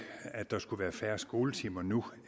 at der skulle være færre skoletimer nu